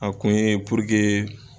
A kun ye purukee